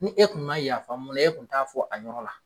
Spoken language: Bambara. Ni e kun man yafa mun na e kun t'a fɔ a yɔrɔ la.